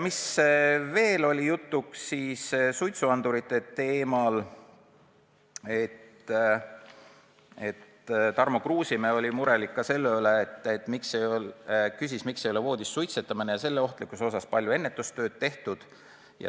Suitsuandurite teemat puudutades oli Tarmo Kruusimäe mures ka selle pärast, miks ei ole voodis suitsetamise ohtlikkust kuigi palju selgitatud ja ennetustööd tehtud.